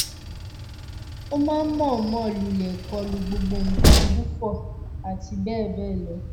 ó máa ń mọ̀ọ́mọ̀ lulẹ̀ kọlu gbogbo nǹkan gù fò àti bẹ́ẹ̀ bẹ́ẹ̀ lọ